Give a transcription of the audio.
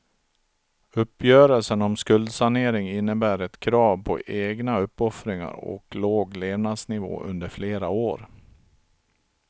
Uppgörelsen om skuldsanering innebär ett krav på egna uppoffringar och låg levnadsnivå under flera år.